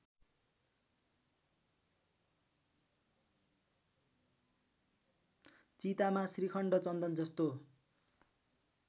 चितामा श्रीखण्ड चन्दनजस्तो